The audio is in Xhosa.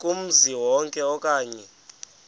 kumzi wonke okanye